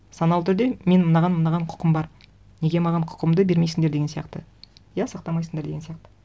саналы түрде менің мынаған мынаған құқым бар неге маған құқымды бермейсіңдер деген сияқты иә сақтамайсыңдар деген сияқты